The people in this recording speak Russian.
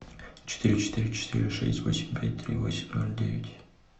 четыре четыре четыре шесть восемь пять три восемь ноль девять